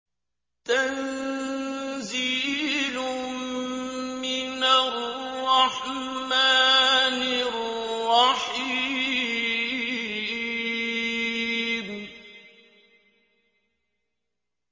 تَنزِيلٌ مِّنَ الرَّحْمَٰنِ الرَّحِيمِ